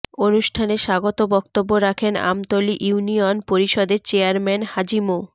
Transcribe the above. অনুষ্ঠানে স্বাগত বক্তব্য রাখেন আমতলী ইউনিয়ন পরিষদের চেয়ারম্যান হাজি মো